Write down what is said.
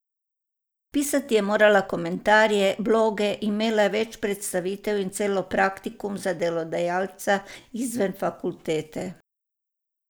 Pisati je morala komentarje, bloge, imela je več predstavitev in celo praktikum za delodajalca izven fakultete.